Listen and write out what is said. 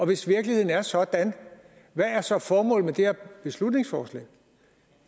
hvis virkeligheden er sådan hvad er så formålet med det her beslutningsforslag